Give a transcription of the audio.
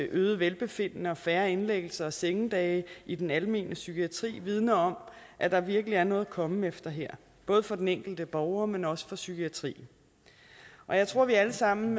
øgede velbefindende og færre indlæggelser og sengedage i den almene psykiatri vidner om at der virkelig er noget at komme efter her både for den enkelte borger men også for psykiatrien og jeg tror vi alle sammen